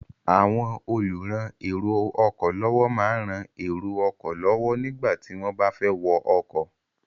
Àwọn olùran èrò ọkọ̀ lọ́wọ́ máa ń rán èrò ọkọ̀ lọ́wọ́ nígbà tí wọ́n bá fẹ́ wọ ọkọ̀.